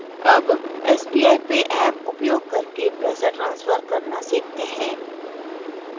अब sbi pay app उपयोग करके पैसा ट्रान्सफर करना सीखते हैं